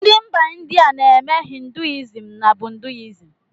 Ndị mba India na-eme ‘hinduism na buddihism’